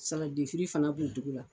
fana b'o dugu la.